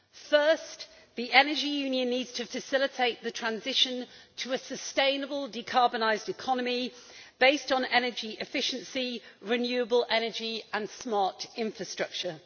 First, the Energy Union needs to facilitate the transition to a sustainable decarbonised economy, based on energy efficiency, renewable energy and smart infrastructure.